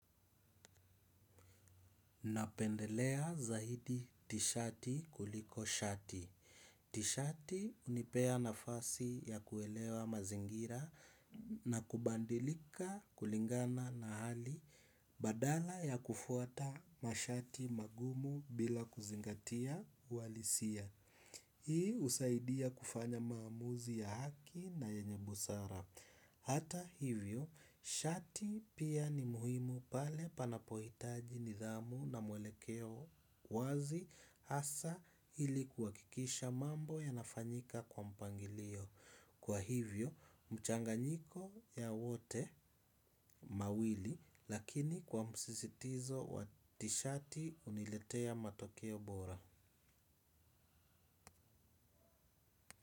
Napendelea zaidi tishati kuliko shati. Tishati hunipea nafasi ya kuelewa mazingira na kubadilika kulingana na hali badala ya kufuata mashati magumu bila kuzingatia walisia. Hii husaidia kufanya maamuzi ya haki na yenye busara. Hata hivyo, shati pia ni muhimu pale panapohitaji nidhamu na mwelekeo wazi asa ili kuwakikisha mambo yanafanyika kwa mpangilio. Kwa hivyo, mchanganyiko ya wote mawili lakini kwa msistizo watishati uniletea matokeo bora.